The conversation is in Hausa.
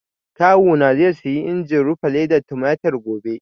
Kawu na zai siyi injin rufe ledar tumatir gobe